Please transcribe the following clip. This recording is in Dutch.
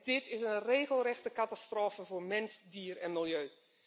Dit is een regelrechte catastrofe voor mens, dier en milieu.